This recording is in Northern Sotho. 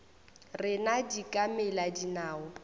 rena di ka mela dinao